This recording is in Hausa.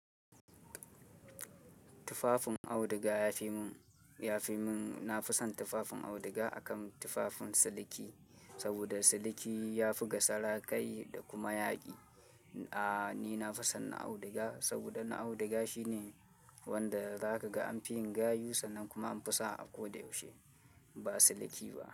Tufafin auduga ya fi mun, ya fi mun. Na fi son tufafin auduga akan tufafin sadiki saboda sadiki ya fi gasa rakai da kuma yaƙi. A ni na fi son na auduga saboda na auduga shine wanda za ka ga an fi yin gayu sannan kuma an fi sa a ko da yaushe ba sadiki ba.